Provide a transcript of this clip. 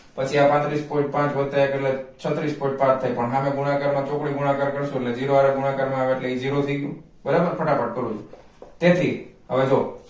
પછી આ પાંત્રિસ point પાંચ વત્તા એક એટલે છત્રીસ point પાંચ થાઈ પણ હામે ગુણાકાર માં ચોકડી ગુણાકાર કરશુ એટલે zero હારે ગુણાકાર માં આવે એટલે ઈ zero થઈ ગ્યું બરાબર ફટાફટ કરું છુ